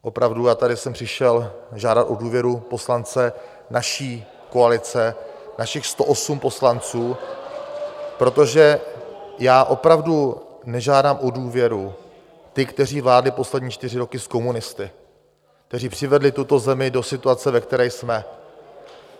Opravdu já jsem tady přišel žádat o důvěru poslance naší koalice, našich 108 poslanců, protože já opravdu nežádám o důvěru ty, kteří vládli poslední čtyři roky s komunisty, kteří přivedli tuto zemi do situace, ve které jsme.